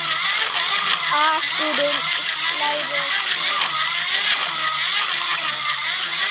Akurinn slær og hirðir féð.